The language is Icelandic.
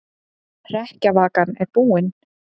Hrekkjavakan er búin